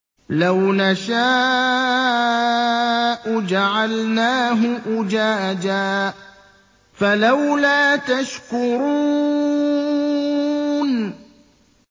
لَوْ نَشَاءُ جَعَلْنَاهُ أُجَاجًا فَلَوْلَا تَشْكُرُونَ